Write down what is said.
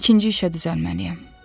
İkinci işə düzəlməliyəm.